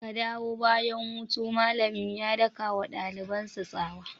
Ka dawo bayan hutu!' malamin ya daka wa dalibansa tsawa.